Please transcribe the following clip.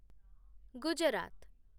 Gujarat